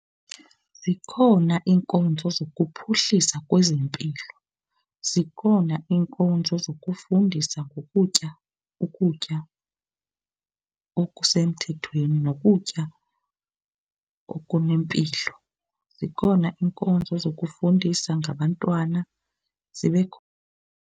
Zikhona iinkonzo zokuphuhlisa kwezempilo. Zikhona iinkonzo zokufundisa ngokutya, ukutya okusemthethweni nokutya okunempilo. Zikhona iinkonzo zokufundisa ngabantwana, zibe khona.